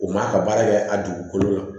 U man ka baara kɛ a dugukolo la